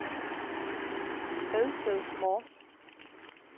Redsted Mors